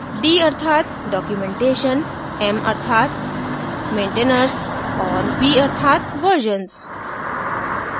d अर्थात documentation m अर्थात maintainers और v अर्थात versions